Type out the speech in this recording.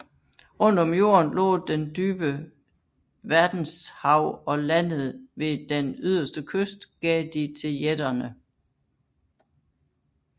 Rundt om jorden lå den dybe Verdenshav og landet ved den yderste kyst gav de til jætterne